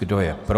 Kdo je pro?